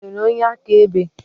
Ị nwere onye akaebe?